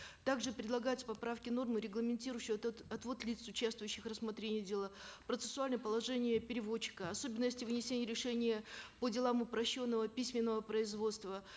также предлагаются поправки и нормы регламентирующие отвод лиц участвующих в рассмотрении дела процессуальное положение переводчика особенности вынесения решения по делам упрощенного письменного производства